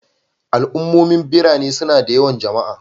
Al'ummomin birane suna da yawan jama'a